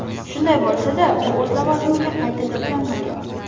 Shunday bo‘lsa-da, u o‘z lavozimiga qayta tiklanmagan.